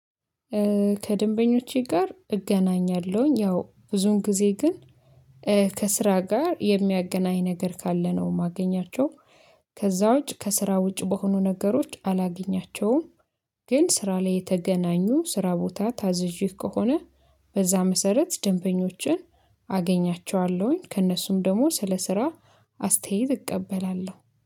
ከደንበኞቼ ጋር እገናኛለሁኝ ያው ብዙን ጊዜ ግን ከስራ ጋር የሚያገናኝ ነገር ካለ ነው የማገኛቸው። ከዛ ውጪ ከስራ ውጪ በሆኑ ነገሮች አላገኛቸውም። ግን ስራ ላይ የተገናኙ ስራ ቦታ ታዝዤ ከሆነ በዛ መሰረት ደንበኞቼን አገኛቸዋለሁኝ ከእነሱም ደግሞ ስለ ስራ አስተያየት እቀበላለሁ